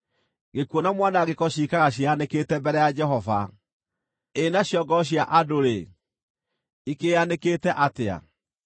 Gĩkuũ na Mwanangĩko ciikaraga ciĩyanĩkĩte mbere ya Jehova, ĩ nacio ngoro cia andũ-rĩ, ikĩĩanĩkĩte atĩa!